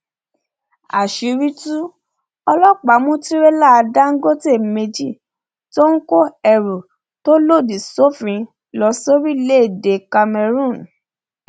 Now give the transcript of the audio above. àṣírí tú ọlọpàá mú tìrẹlà dáńgọtẹ méjì tó ń kó ẹrù tó lòdì sófin lọ sórílẹèdè cameroon